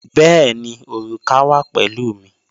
Bẹ̀ẹ̀ni, orúkà wa pẹ̀lú mi.